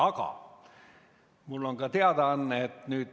Aga mul on ka teadaanne.